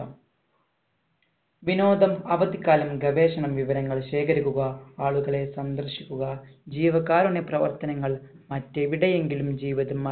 വിനോദം അവധി കാലം ഗവേഷണ വിവരങ്ങൾ ശേഖരിക്കുക ആളുകളെ സന്ദർശിക്കുക ജീവകാരുണ്യ പ്രവർത്തനങ്ങൾ മറ്റു എവിടെയെങ്കിലും ജീവിതമാ